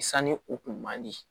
Sani u kun man di